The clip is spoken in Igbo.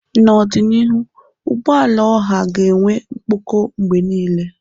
N'ọdịnihu, ụgbọala ọha ga-enwe mkpọkọ mgbe niile.